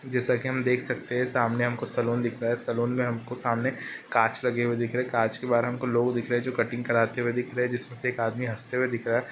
जैसा की हम देख सकते है सामने हमको सलून दिख रहा है सलून मे हमको सामने कांच लगे हुए दिख रहे हैं कांच के बाहर हमको लोग दिख लोग दिख रहे हैं लोग जो कटिंग करते हुए दिखाई दे रहा है जिसमे एक आदमी हसते हुए दिख रहा है।